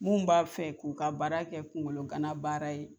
Mun b'a fɛ k'u ka baara kɛ kungologana baara ye.